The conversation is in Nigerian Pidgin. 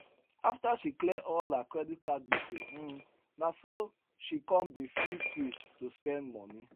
after she clear all her credit card gbese um na so she con dey feel free to spend money